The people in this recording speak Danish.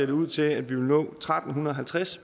det ud til at vi vil nå tretten halvtreds